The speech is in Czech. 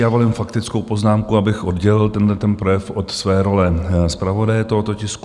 Já volím faktickou poznámku, abych oddělil tento projev od své role zpravodaje tohoto tisku.